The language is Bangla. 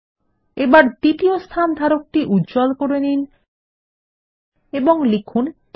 এবার দ্বিতীয় স্থানধারকটি উজ্জ্বল করে নিন এবং লিখুন ৩